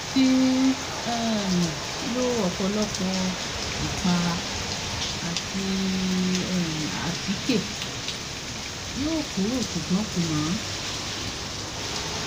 mo ti um lo ọpọ̀lọpọ̀ ìpara àti um àtíkè yọ ọ́ kúrò ṣùgbọ́n kò ràn-án